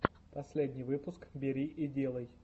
последний выпуск бери и делай